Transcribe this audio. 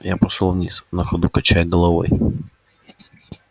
я пошёл вниз на ходу качая головой